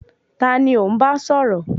Taani ò ń bá sọ̀rọ̀?